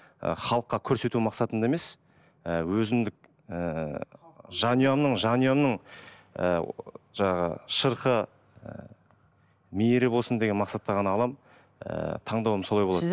і халыққа көрсету мақсатында емес і өзіндік ііі жанұямның жанұямның ыыы жаңағы шырқы ы мейірі болсын деген мақсатта ғана аламын ііі таңдауым солай болады